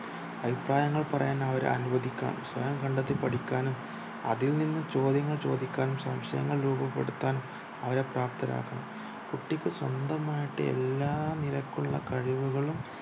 അഭിപ്രായങ്ങൾ പറയാൻ അവര അനുവദിക്കണം സ്വയം കണ്ടെത്തി പഠിക്കാനും അതിൽനിന്നു ചോദ്യങ്ങൾ ചോദിക്കാനും സംശയങ്ങൾ രൂപപ്പെടുത്താനും അവരെ പ്രാപ്തരാക്കണം കുട്ടിക്ക് സ്വന്തമായിട് എല്ലാ നിരക്കുള്ള കഴിവുകളും